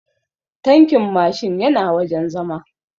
Tankin Mashin yana wajen zama